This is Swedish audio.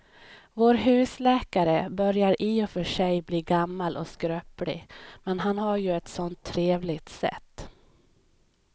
Vår husläkare börjar i och för sig bli gammal och skröplig, men han har ju ett sådant trevligt sätt!